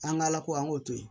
An ka ala ko an k'o to yen